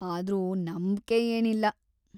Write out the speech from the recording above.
ಆದ್ರೂ ನಂಬ್ಕೆ ಏನಿಲ್ಲ.